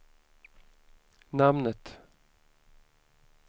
namnet